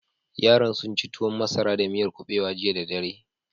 Yaran sun ci tuwon masara da miyar kuɓewa jiya da dare.